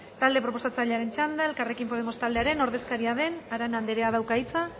talde proposatzailearen txanda elkarrekin podemos taldearen ordezkaria den arana andereak dauka hitza